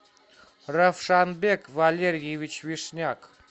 равшанбек валерьевич вишняк